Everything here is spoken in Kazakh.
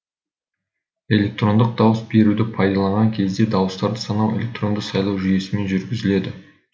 электрондық дауыс беруді пайдаланған кезде дауыстарды санау электронды сайлау жүйесімен жүргізіледі